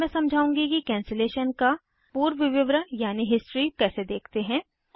अब मैं समझाउंगी कि कैंसिलेशन का पूर्व विवरण यानी हिस्ट्री कैसे देखते हैं